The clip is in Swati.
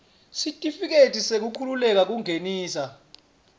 sitifiketi sekukhululeka kungenisa